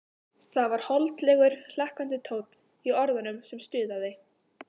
Það var holdlegur, hlakkandi tónn í orðunum sem stuðaði